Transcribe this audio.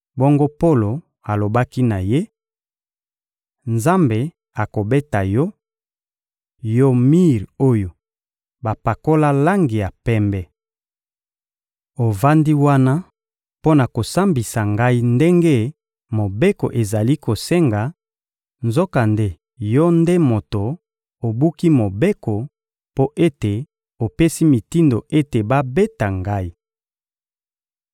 Bongo Polo alobaki na ye: — Nzambe akobeta yo, yo mir oyo bapakola langi ya pembe! Ovandi wana mpo na kosambisa ngai ndenge Mobeko ezali kosenga, nzokande yo nde moto obuki Mobeko mpo ete opesi mitindo ete babeta ngai!